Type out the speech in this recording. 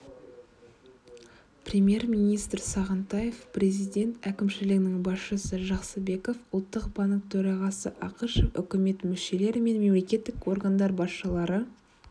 премьер-министр сағынтаев президент әкімшілігінің басшысы жақсыбеков ұлттық банк төрағасы ақышев үкімет мүшелері мен мемлекеттік органдар басшылары